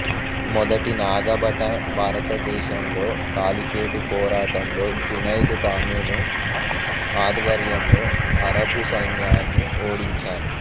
మొదటి నాగభట భారతదేశంలో కాలిఫేటు పోరాటంలో జునైదు టామిను ఆధ్వర్యంలో అరబు సైన్యాన్ని ఓడించారు